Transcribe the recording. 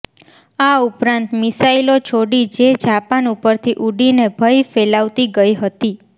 આ ઉપરાંત મિસાઇલો છોડી જે જાપાન ઉપરથી ઊડીને ભય ફેલાવતી ગઈ હતી